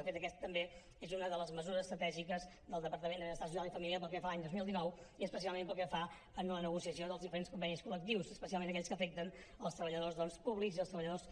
de fet aquesta també és una de les mesures estratègiques del departament d’afers socials i famílies pel que fa a l’any dos mil dinou i especialment pel que fa a la negociació dels diferents convenis col·lectius especialment aquells que afecten els treballadors públics i els treballadors